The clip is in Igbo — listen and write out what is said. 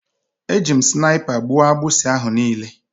Eji m snaipa gbụo agbusi ahụ niile